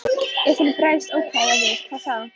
En ef hún nú bregst ókvæða við, hvað þá?